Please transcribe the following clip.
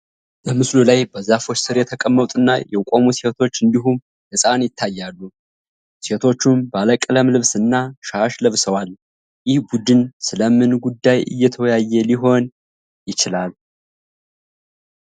በምስሉ ላይ፣ በዛፎች ስር የተቀመጡና የቆሙ ሴቶች እንዲሁም ሕፃን ይታያሉ፤ ሴቶቹም ባለቀለም ልብስና ሻሽ ለብሰዋል፤ ይህ ቡድን ስለ ምን ጉዳይ እየተወያየ ሊሆን ይችላል?